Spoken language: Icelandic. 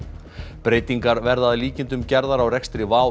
breytingar verða að líkindum gerðar á rekstri WOW